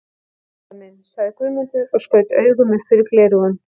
Já herra minn, sagði Guðmundur og skaut augum upp fyrir gleraugun.